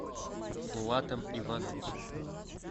булатом ивановичем